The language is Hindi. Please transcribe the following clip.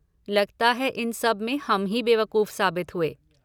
लगता है, इन सब में हम ही बेवकूफ साबित हुए,